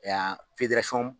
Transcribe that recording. Yan